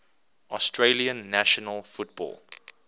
australian national football